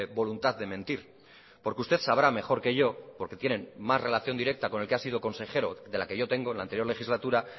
voluntad de mentir porque usted sabrá mejor que yo porque tiene más relación directa con el que ha sido consejero de la que yo tengo en la anterior legislatura